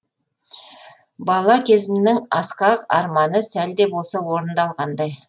бала кезімнің асқақ арманы сәлде болса орындалғандай